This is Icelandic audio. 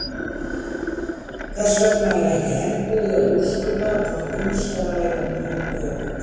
Þess vegna er ekki enn búið að úrskurða hvort um sé að ræða nýjar tegundir.